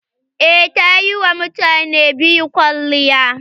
Eh, ta yi wa mutane biyu kwalliya.